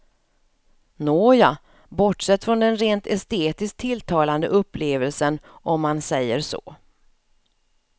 Nåja, bortsett från den rent estetisk tilltalande upplevelsen om man säger så.